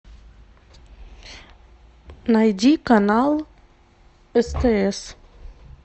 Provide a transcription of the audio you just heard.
найди канал стс